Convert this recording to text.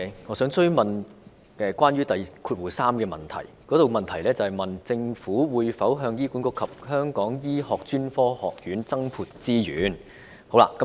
我想追問主體質詢第三部分中關於"政府會否向醫管局及醫專增撥資源"的問題。